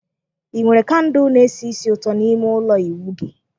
Ị nwere kandụl na-esi ísì ụtọ n'ime ime ụlọ ịwụ gị?